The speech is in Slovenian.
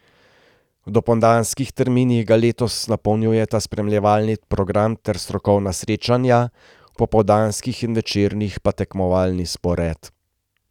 V dopoldanskih terminih ga letos napolnjujeta spremljevalni program ter strokovna srečanja, v popoldanskih in večernih pa tekmovalni spored.